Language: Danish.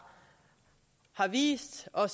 vist og